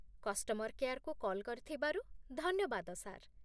Customer କେୟାର୍କୁ call କରିଥିବାରୁ ଧନ୍ୟବାଦ, ସାର୍ ।